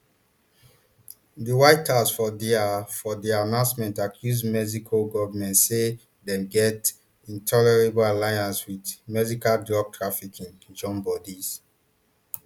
di white house for dia for dia announcement accuse mexico goment say dem get intolerable alliance wit mexican drug trafficking joinbodies